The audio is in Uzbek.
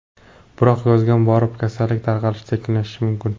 Biroq yozga borib, kasallik tarqalishi sekinlashishi mumkin.